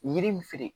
Yiri min feere